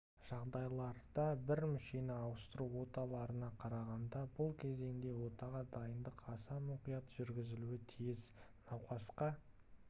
жағдайларда бір мүшені ауыстыру оталарына қарағанда бұл кезеңде отаға дайындық аса мұқият жүргізілуі тиіс науқасқа